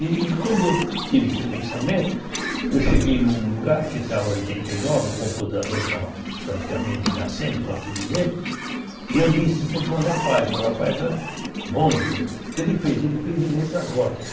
E e quando eu tive esse pensamento, eu cheguei num lugar que estava oitenta e nove, o computador estava praticamente nascendo, pode-se dizer, e eu disse isso para um rapaz, um rapaz bom, então ele fez, ele fez em letra gótica.